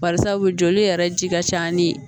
Barisabu joli yɛrɛ ji ka ca ni